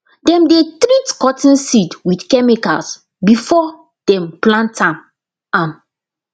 dem dey treat cotton seed with chemicals before dem plant am am